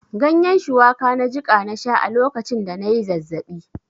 Ganyen shuwaka na jiƙa na sha a lokacin da na yi zazzaɓi.